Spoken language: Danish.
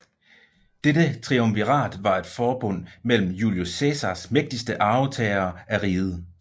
Dette triumvirat var et forbund mellem Julius Cæsars mægtigste arvtagere af riget